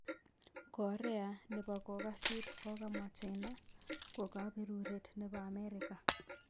Korea nepo kokasit kokamwa china ko kaperuret nepo amerika